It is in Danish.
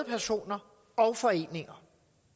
personer og foreninger